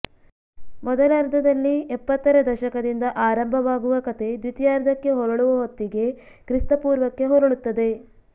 ಮೊದಲರ್ಧದಲ್ಲಿ ಎಪ್ಪತ್ತರ ದಶಕದಿಂದ ಆರಂಭವಾಗುವ ಕಥೆ ದ್ವಿತೀಯಾರ್ಧಕ್ಕೆ ಹೊರಳುವ ಹೊತ್ತಿಗೆ ಕ್ರಿಸ್ತಪೂರ್ವಕ್ಕೆ ಹೊರಳುತ್ತದೆ